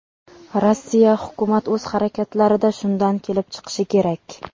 Rossiya hukumat o‘z harakatlarida shundan kelib chiqishi kerak.